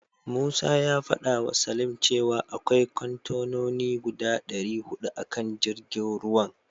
Musa ya fadawa Salim cewa akwai kontenoni guda dari hudu a kan jirgin ruwan.